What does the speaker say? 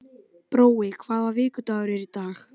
Brói, hvaða vikudagur er í dag?